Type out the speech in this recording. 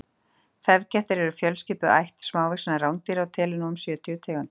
þefkettir eru fjölskipuð ætt smávaxinna rándýra og telur nú um sjötíu tegundir